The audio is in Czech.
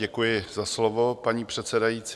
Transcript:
Děkuji za slovo, paní předsedající.